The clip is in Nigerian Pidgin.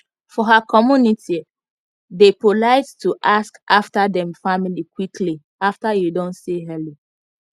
for her communitye dey polite to ask after dem family quickly after you don say hello